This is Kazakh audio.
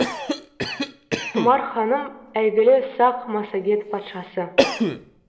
тұмар ханым әйгілі сақ массагет патшасы